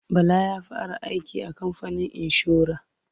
Bala ya fara aiki a kamfanin inshora.